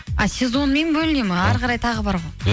а сезонмен бөліне ма ары қарай тағы бар ғой